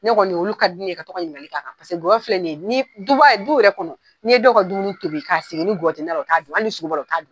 Ne kɔni, olu ka di ne ye, ka to ka ɲininkali k'a kan, paseke ŋɔyɔ filɛ nin ye duba du yɛrɛ kɔnɔ , ni dɔw ka dumuni tobi ka sigi, ni ŋɔyɔ ti nan na, u t'a dun, hali ni sogo b'a la, u t'a dun.